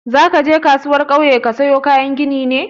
Zaka je kasuwar kauye ka sayo kayan ginin ne?